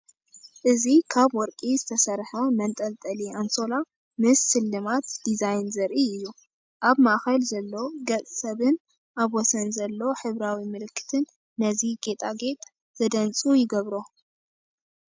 እዚ ካብ ወርቂ ዝተሰርሐ መንጠልጠሊ ኣንሶላ ምስ ስልማት ዲዛይን ዘርኢ እዩ። ኣብ ማእከል ዘሎ ገጽ ሰብን ኣብ ወሰን ዘሎ ሕብራዊ ምልክትን ነዚ ጌጣጌጥ ዘደንጹ ይገብሮ።